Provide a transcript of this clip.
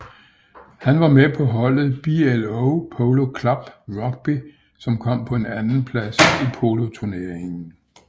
Han var med på holdet BLO Polo Club Rugby som kom på en andenplads i poloturneringen